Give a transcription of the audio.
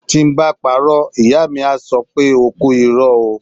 Tí ń bá parọ́, Ìyá mi á sọ pé O kú irọ́ ó.